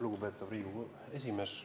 Lugupeetud Riigikogu esimees!